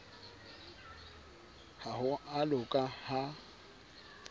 ha ho a loka ha